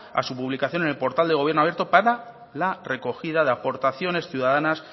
a su publicación en el portal de gobierno abierto para la recogida de aportaciones ciudadanas